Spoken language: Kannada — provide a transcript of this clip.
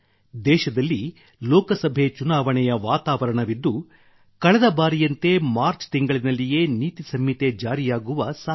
ದೇಶದಲ್ಲಿ ಲೋಕಸಭೆ ಚುನಾವಣೆಯ ವಾತಾವರಣವಿದ್ದ ಕಳೆದ ಬಾರಿಯಂತೆ ಮಾರ್ಚ್ ತಿಂಗಳಿನಲ್ಲಿಯೇ ನೀತಿ ಸಂಹಿತೆ ಜಾರಿಯಾಗುವ ಸಾಧ್ಯತೆ ಇದೆ